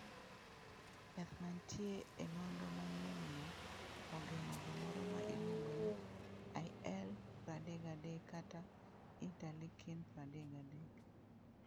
Yath mantie e nonro manyienno ogeng'o gimoro ma miluongo ni IL-33 (kata interleukin-33).